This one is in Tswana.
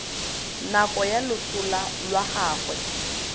nako ya loso lwa gagwe